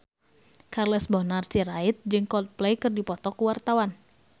Charles Bonar Sirait jeung Coldplay keur dipoto ku wartawan